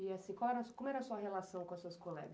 E, assim, qual era a sua, como era sua relação com as suas colegas?